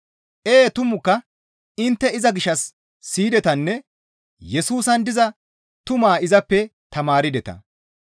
Ee tumukka intte iza gishshas siyidetanne Yesusan diza tumaa izappe tamaardeta.